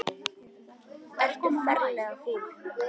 Ertu ferlega fúll?